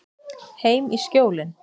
Heim í Skjólin.